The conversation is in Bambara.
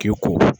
K'i ko